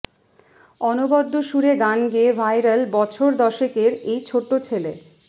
অনবদ্য সুরে গান গেয়ে ভাইরাল বছর দশেকের এই ছোট্ট ছেলে